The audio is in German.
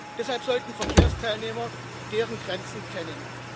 Deshalb sollten Verkehrsteilnehmer deren Grenzen kennen.